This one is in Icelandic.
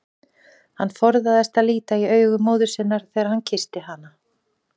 Hann forðaðist að líta í augu móður sinnar þegar hann kyssti hana.